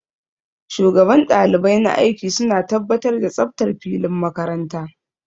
Shugaban ɗalibai na aiki suna tabbatar da tsaftar filin makaranta